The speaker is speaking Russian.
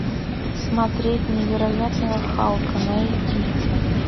смотреть невероятного халка найди